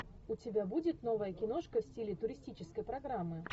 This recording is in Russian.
у тебя будет новая киношка в стиле туристической программы